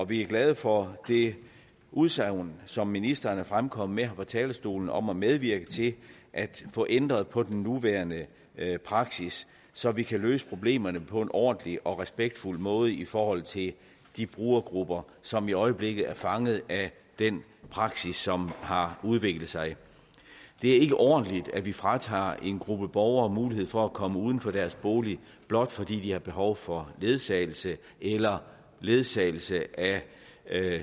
vi er glade for det udsagn som ministeren er fremkommet med på talerstolen om at medvirke til at få ændret på den nuværende praksis så vi kan løse problemerne på en ordentlig og respektfuld måde i forhold til de brugergrupper som i øjeblikket er fanget af den praksis som har udviklet sig det er ikke ordentligt at vi fratager en gruppe borgere mulighed for at komme uden for deres bolig blot fordi de har behov for ledsagelse eller ledsagelse af